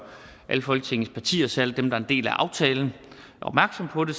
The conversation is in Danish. alle folketingets partier særlig dem der er en del af aftalen opmærksom på det